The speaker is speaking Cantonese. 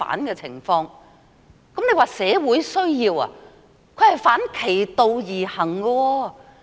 若說是社會需要，此舉則是反其道而行。